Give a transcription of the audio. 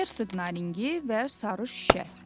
Hersoq Naringi və Sarı Şüşə.